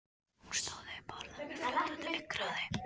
Hún stóð upp og horfði á mig fljótandi augnaráði.